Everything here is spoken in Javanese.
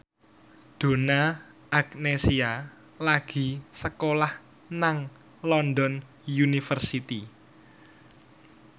Donna Agnesia lagi sekolah nang London University